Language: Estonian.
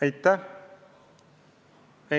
Aitäh!